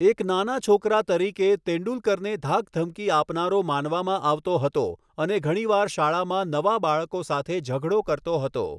એક નાના છોકરા તરીકે, તેંડુલકરને ધાકધમકી આપનારો માનવામાં આવતો હતો અને ઘણીવાર શાળામાં નવા બાળકો સાથે ઝઘડો કરતો હતો.